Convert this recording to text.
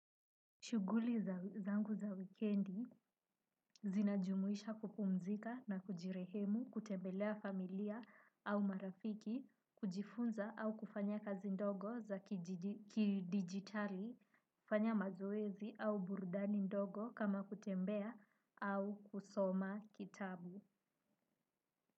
Shuguli za zangu za wikendi zinajumuisha kupumzika na kujirehemu, kutembelea familia au marafiki, kujifunza au kufanya kazi ndogo za kidigitali, kufanya mazoezi au burudani ndogo kama kutembea au kusoma kitabu.